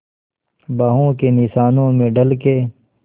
बाहों के निशानों में ढल के